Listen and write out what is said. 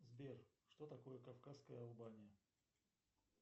сбер что такое кавказская албания